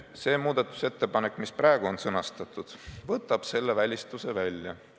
See muudatusettepanek, mis praegu on sõnastatud, võtab selle välistuse välja.